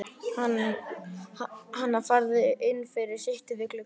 Hana, farðu inn fyrir, sittu við gluggann.